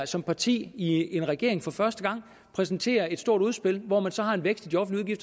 som parti i en regering for første gang præsenterer et stort udspil hvor man har en vækst i de offentlige